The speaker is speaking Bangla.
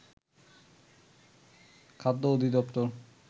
খাদ্য অধিদপ্তর